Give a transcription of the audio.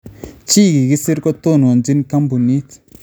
Che kikisir kotononchin koombuunit